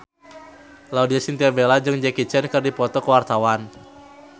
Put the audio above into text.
Laudya Chintya Bella jeung Jackie Chan keur dipoto ku wartawan